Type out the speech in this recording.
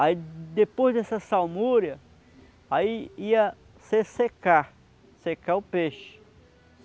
Aí depois dessa salmúria, aí ia se secar, secar o peixe.